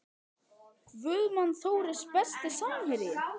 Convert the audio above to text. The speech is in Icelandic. Guðmann Þóris Besti samherjinn?